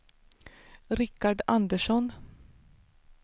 Rickard Andersson